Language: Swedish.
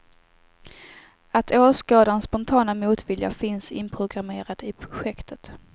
Att åskådarens spontana motvilja finns inprogrammerad i projektet.